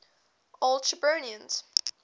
old shirburnians